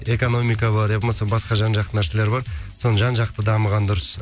экономика бар ия болмаса басқа жан жақты нәрселер бар соның жан жақты дамығаны дұрыс